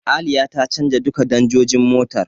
Aliya ta canja duka danjojin motar.